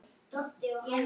Reyndu að skilja það.